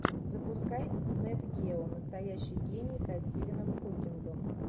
запускай нет гео настоящий гений со стивеном хокингом